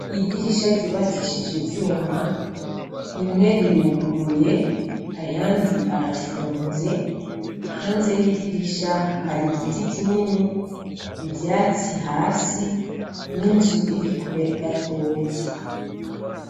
Idirisha ryubakishije ivyuma rimwe riruguruye ayandi arafunze hanze y'idirisha hari igiti kinini ivyatsi hasi n'inzu irikure gatoyi.